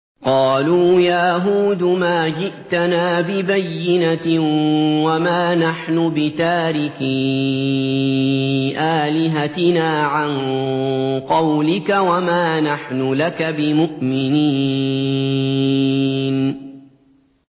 قَالُوا يَا هُودُ مَا جِئْتَنَا بِبَيِّنَةٍ وَمَا نَحْنُ بِتَارِكِي آلِهَتِنَا عَن قَوْلِكَ وَمَا نَحْنُ لَكَ بِمُؤْمِنِينَ